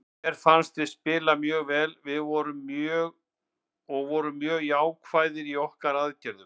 Mér fannst við spila mjög vel og vorum mjög jákvæðir í okkar aðgerðum.